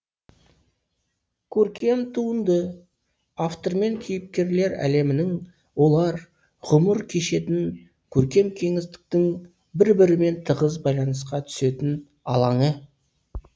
көркем туынды автор мен кейіпкерлер әлемінің олар ғұмыр кешетін көркем кеңістіктің бір бірімен тығыз байланысқа түсетін алаңы